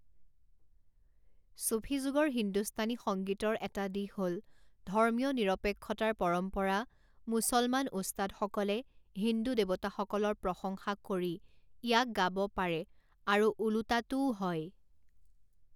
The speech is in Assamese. ছুফী যুগৰ হিন্দুস্তানী সংগীতৰ এটা দিশ হ'ল ধৰ্মীয় নিৰপেক্ষতাৰ পৰম্পৰা মুছলমান উস্তাদসকলে হিন্দু দেৱতাসকলৰ প্ৰশংসা কৰি ইয়াক গাব পাৰে আৰু ওলোটাটোও হয়।